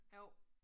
Jo